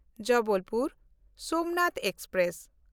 Jabalpur Somnath express